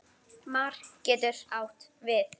Mar getur átt við